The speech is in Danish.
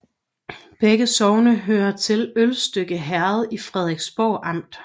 Begge sogne hørte til Ølstykke Herred i Frederiksborg Amt